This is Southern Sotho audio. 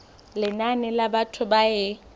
lenane la batho ba e